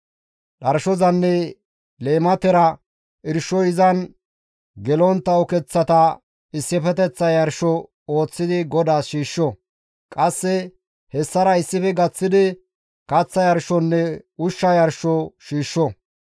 Dharshozanne leematera irshoy izan gelontta ukeththata issifeteththa yarsho ooththidi GODAAS shiishsho; qasse hessara issife gaththidi kaththa yarshonne ushsha yarsho yarsho.